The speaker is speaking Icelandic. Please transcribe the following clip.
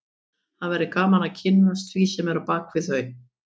Það væri gaman að kynnast því sem er á bak við þau